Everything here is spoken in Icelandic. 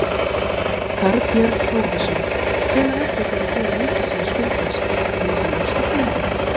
Þorbjörn Þórðarson: Hvenær ætlið þið að gera ríkissjóð skuldlausan, mun það nást á tímabilinu?